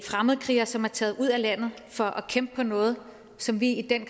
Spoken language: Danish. fremmedkrigere som er taget ud af landet for at kæmpe for noget som vi i den